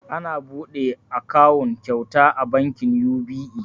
Ana buɗe akawun kyauta a bankin yubi'e